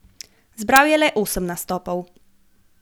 Zbral je le osem nastopov.